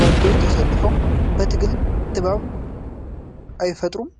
ጓዶች ተሰልፈው የትግል ድባብ አይፈጥሩም?